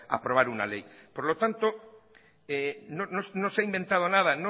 aprobar una ley por lo tanto no se ha inventado nada